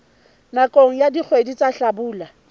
nakong ya dikgwedi tsa hlabula